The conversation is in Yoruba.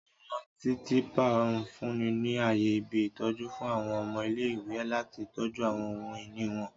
Àwọn titiipa nfunni ni aaye ibi-itọju fun àwọn ọmọ ile-iwe lati tọju àwọn ohun-ini wọn.